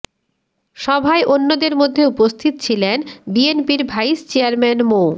সভায় অন্যদের মধ্যে উপস্থিত ছিলেন বিএনপির ভাইস চেয়ারম্যান মো